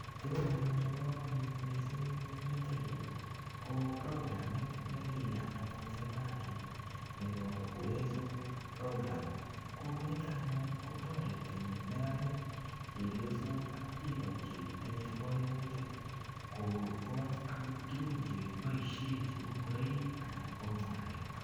Tugun anyun chebo komonut missing eng yutoyu, ko programit ne kiyat anyun serikalit nebo Uwezo Program. Ko nitok anyun, kotoreti neranik, chepyosok ak biiko chetinye kaimutik. Kokoch agot tugun che kiboisie cheu ngoroik, anan ko mwanik.